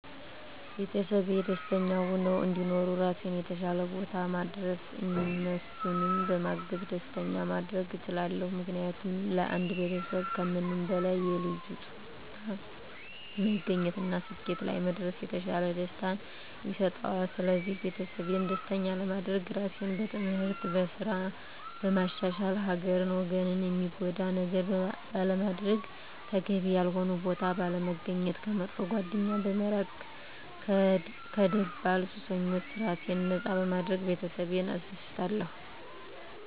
ቤተሰቤ ደስተኛ ሁነው እንዲኖሩ ራሴን የተሻለ ቦታ ማድረስ እነሱንም በማገዝ ደስተኛ ማድረግ እችላለሁ። ምክንያቱም ለአንድ ቤተሰብ ከምንም በላይ የልጁ ጥሩ ቦታ መገኘት እና ስኬት ላይ መድረስ የተሻለ ደስታን ይሰጠዋል ስለዚህ ቤተሰቤን ደስተኛ ለማድረግ ራሴን በትምህርት፣ በስራ በማሻሻል ሀገርን ወገንን ሚጎዳ ነገር ባለማድረግ፣ ተገቢ ያልሆነ ቦታ ባለመገኘት፣ ከመጥፎ ጓደኛ በመራቅ ከደባል ሱሶች ራሴን ነፃ በማድረግ ቤተሰቤን አስደስታለሁ።